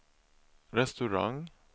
restaurang